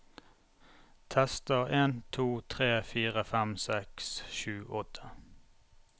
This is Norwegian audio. Tester en to tre fire fem seks sju åtte